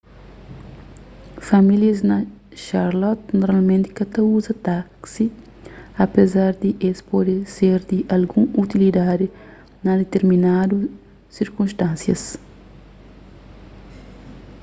famílias na charlotte normalmenti ka ta uza taksi apezar di es pode ser di algun utilidadi na ditirminadu sirkunstánsias